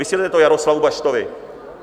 Vysvětlete to Jaroslavu Baštovi.